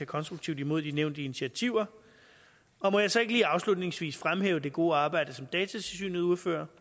konstruktivt imod de nævnte initiativer må jeg så ikke lige afslutningsvis fremhæve det gode arbejde som datatilsynet udfører